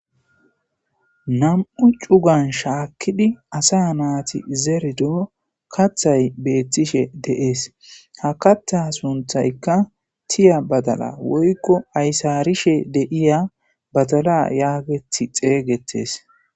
Nam'u cugan shaakkidi asa naati zerido kathay beettishe deees ha katha sunthaykka tiya badala woykko aysarishe deiya badala yaagethi xeygettees.